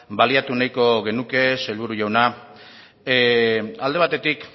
baliatu nahiko genuke sailburu jauna alde batetik